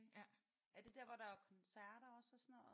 Okay. Er det der hvor der er koncerter også og sådan noget?